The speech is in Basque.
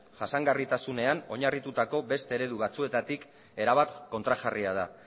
jasangarritasunean oinarritutako beste eredu batzuetatik erabat kontrajarria da